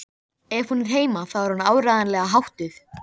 Fá þeir oft slæman brjóstsviða við neyslu þess.